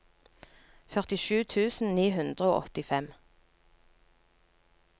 førtisju tusen ni hundre og åttifem